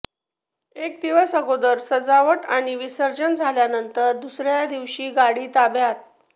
एक दिवस अगोदर सजावट आणि विसर्जन झाल्यानंतर दुसर्या दिवशी गाडी ताब्यात